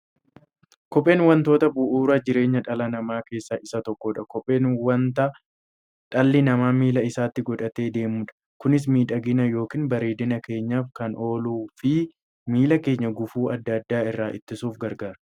Kopheen wantoota bu'uura jireenya dhala namaa keessaa isa tokkodha. Kopheen wanta dhalli namaa miilla isaatti godhatee deemudha. Kunis miidhagina yookiin bareedina keenyaf kan ooluufi miilla keenya gufuu adda addaa irraa ittisuuf gargaara.